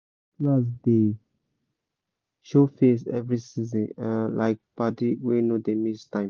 cutlass dey show face every season—like padi wey no dey miss time